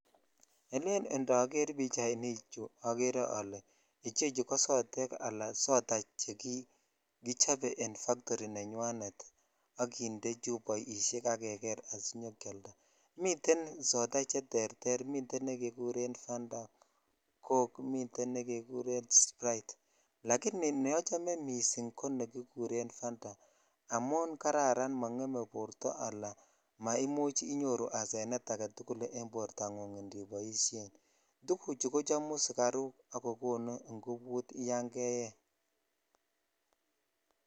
Elen indoger pichainichu ogere oleichechu kosodej ala soda chekichobe en factory] nenywa et ak kinde chupoishe ak keger asikialda muten soda cheterter miten nekeguren Fanta, cok miten negeguren sprite lakini neochome missing ko nekikuren Fanta amon kararan mongeme borto ala maimuch inyoru asenet agetukul en bortangung indi noishen tuguchu kochomu sugaruk ak kokonu ingobutyan keyee.